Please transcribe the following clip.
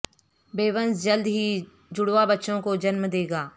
Buenos جلد ہی جڑواں بچوں کو جنم دے گا